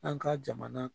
An ka jamana